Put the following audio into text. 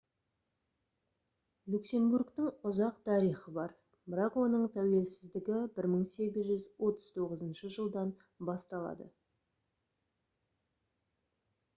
люксембургтің ұзақ тарихы бар бірақ оның тәуелсіздігі 1839 жылдан басталады